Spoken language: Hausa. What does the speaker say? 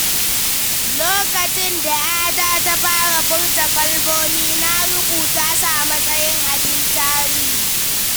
Lokacin da ‘yata ta fara furta kalmomi, na rubuta su amatsayin abin tarihi.